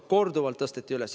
Korduvalt tõsteti seda üles.